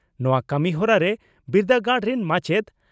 ᱱᱚᱣᱟ ᱠᱟᱹᱢᱤ ᱦᱚᱨᱟᱨᱮ ᱵᱤᱨᱫᱟᱹᱜᱟᱲ ᱨᱤᱱ ᱢᱟᱪᱮᱛ